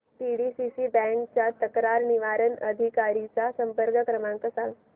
PDCC bank च्या तक्रार निवारण अधिकारी चा संपर्क क्रमांक सांग